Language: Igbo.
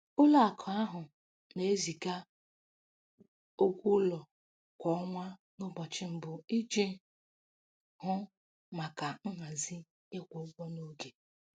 Ụlọakụ ahụ na-eziga ụgwọ ụlọ kwa ọnwa n'ụbọchị mbụ iji hụ maka nhazi ịkwụ ụgwọ n'oge.